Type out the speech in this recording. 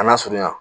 A lasurunya